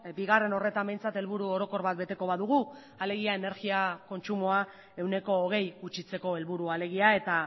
bigarren horretan behintzat helburu orokor bat beteko badugu alegia energia kontsumoa ehuneko hogei gutxitzeko helburua alegia eta